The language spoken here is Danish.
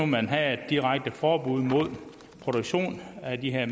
man havde et direkte forbud mod produktion af de her